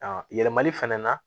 A yɛlɛmali fɛnɛ na